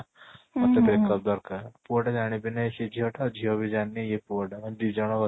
ମତେ breakup ଦରକାର ପୁଅ ବି ଜାଣିନି ସେ ଝିଅ ଟା ଝିଅବି ଜାଣିନି ଇଏ ପୁଅ ଟା ଦି ଜଣ